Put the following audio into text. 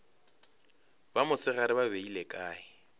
ba mosegare ba beile kae